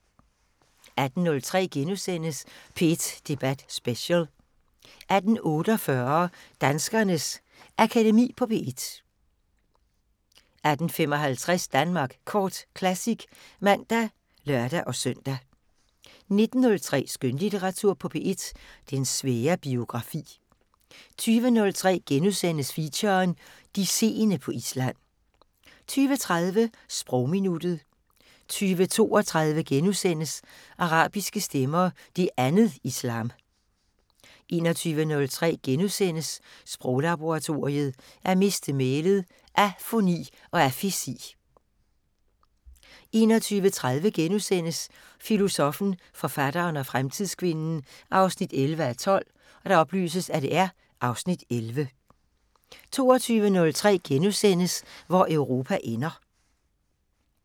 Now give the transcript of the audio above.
18:03: P1 Debat Special * 18:48: Danskernes Akademi på P1 18:55: Danmark Kort Classic (man og lør-søn) 19:03: Skønlitteratur på P1: Den svære biografi 20:03: Feature: De seende på Island * 20:30: Sprogminuttet 20:32: Arabiske stemmer: Det andet islam * 21:03: Sproglaboratoriet: At miste mælet - afoni og afesi * 21:30: Filosoffen, forfatteren og fremtidskvinden 11:12 (Afs. 11)* 22:03: Hvor Europa ender *